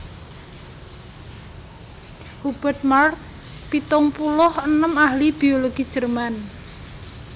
Hubert Markl pitung puluh enem ahli biologi Jerman